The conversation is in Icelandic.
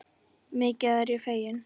Mikið er ég fegin.